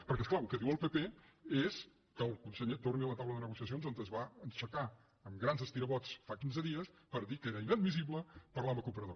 perquè és clar el que diu el pp és que el conseller torni a la taula de negociacions d’on es va aixecar amb grans estirabots fa quinze dies per dir que era inadmissible parlar de l’operador